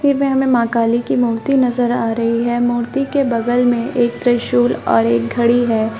तस्वीर में हमे माँ काली की मूर्ति नजर आ रही है मूर्ति के बगल में एक त्रिशूल और एक घड़ी है।